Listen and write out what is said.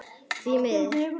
Því miður.